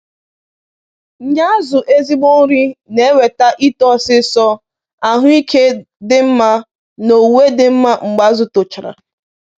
Ị Ị nye azụ ezigbo nri na e weta ito ọsisọ, ahụ ike dị mma, na owuwe dị mma mgbe azụ tochara